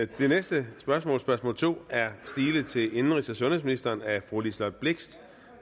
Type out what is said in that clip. det næste spørgsmål spørgsmål to er stillet til indenrigs og sundhedsministeren af fru liselott blixt